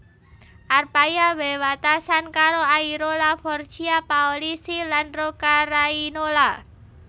Arpaia wewatesan karo Airola Forchia Paolisi lan Roccarainola